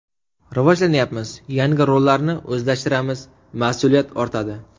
Rivojlanyapmiz, yangi rollarni o‘zlashtiramiz, mas’uliyat ortadi.